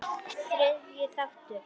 Þriðji þáttur